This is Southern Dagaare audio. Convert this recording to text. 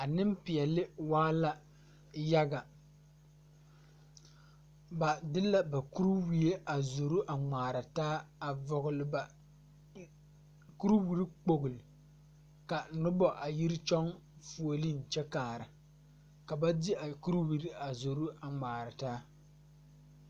A neŋpeɛle waa la yaga a de la kiriwie a zoro a ngmaara taa a vɔgle ba kuriwiri kpogle ka nobɔ a yiri kyɔŋ fuolee kyɛ kaara ka ba de a kuriwiri a zoro a bgmaara taa.